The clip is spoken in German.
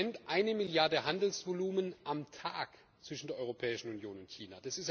Wir haben im Moment eine Milliarde Handelsvolumen am Tag zwischen der Europäischen Union und China.